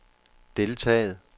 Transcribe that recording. deltaget